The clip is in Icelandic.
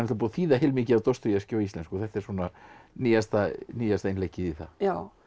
búið að þýða heilmikið af Dostojevskí á íslensku og þetta er svona nýjasta nýjasta innleggið í það já